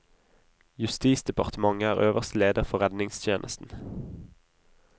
Justisdepartementet er øverste leder for redningstjenesten.